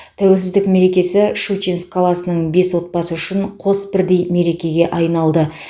тәуелсіздік мерекесі щучинск қаласының бес отбасы үшін қос бірдей мерекеге айналды